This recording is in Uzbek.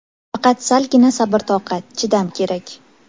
Faqat salgina sabr-toqat, chidam kerak.